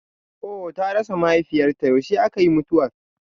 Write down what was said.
Ohh ta rasa mahaifiyar ta, yaushe aka yi mutuwar?